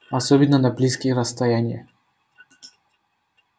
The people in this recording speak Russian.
особенно на близкие расстояния